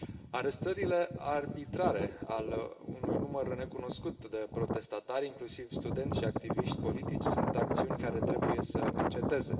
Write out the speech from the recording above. Arestările arbitrare ale unui număr necunoscut de protestatari, inclusiv studenți și activiști politici, sunt acțiuni care trebuie să înceteze.